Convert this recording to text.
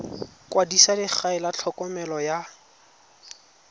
kwadisa legae la tlhokomelo ya